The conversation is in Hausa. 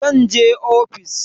Zan je ofis.